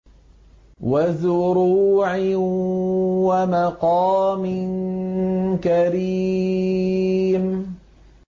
وَزُرُوعٍ وَمَقَامٍ كَرِيمٍ